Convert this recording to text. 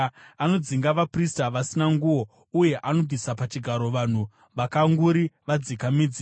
Anodzinga vaprista vasina nguo uye anobvisa pachigaro vanhu vakanguri vadzika midzi.